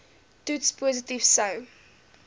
toets positief sou